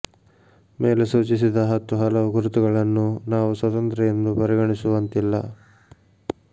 ಮೇಲೆ ಸೂಚಿಸಿದ ಹತ್ತು ಹಲವು ಗುರುತುಗಳನ್ನು ನಾವು ಸ್ವತಂತ್ರ ಎಂದು ಪರಿಗಣಿಸಸುವಂತಿಲ್ಲ